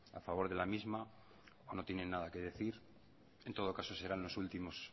a favor de la misma o no tienen nada que decir en todo caso serán los últimos